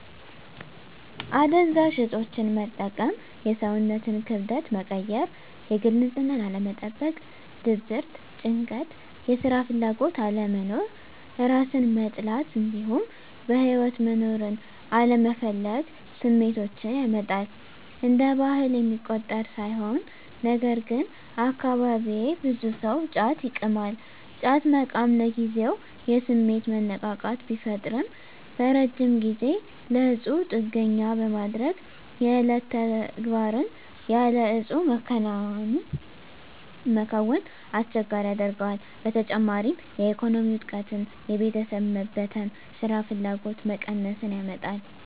አደንዛዥ እፆችን መጠቀም የሰውነትን ክብደት መቀየር፣ የግል ንፅህናን አለመጠበቅ፣ ድብርት፣ ጭንቀት፣ የስራ ፍላጎት አለመኖር፣ እራስን መጥላት እንዲሁም በህይወት መኖርን አለመፈለግ ስሜቶችን ያመጣል። እንደ ባህል የሚቆጠር ሳይሆን ነገርግን አካባቢየ ብዙ ሰው ጫት ይቅማል። ጫት መቃም ለጊዜው የስሜት መነቃቃት ቢፈጥርም በረጅም ጊዜ ለእፁ ጥገኛ በማድረግ የዕለት ተግባርን ያለ እፁ መከወንን አስቸጋሪ ያደርገዋል። በተጨማሪም የኢኮኖሚ ውድቀትን፣ የቤተሰብ መበተን፣ ስራፍላጎት መቀነስን ያመጣል።